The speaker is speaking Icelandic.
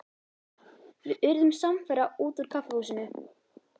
Við urðum samferða út úr kaffihúsinu.